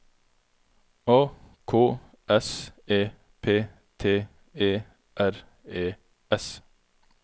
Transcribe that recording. A K S E P T E R E S